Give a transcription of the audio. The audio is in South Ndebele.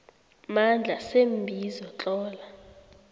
mandla seembizo tlola